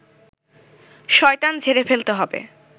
শয়তান ঝেড়ে ফেলতে হবে